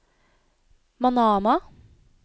Manama